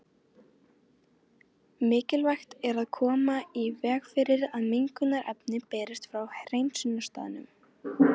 Mikilvægt er að koma í veg fyrir að mengunarefni berist frá hreinsunarstaðnum.